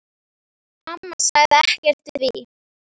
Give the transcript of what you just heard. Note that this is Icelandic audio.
Amma sagði ekkert við því.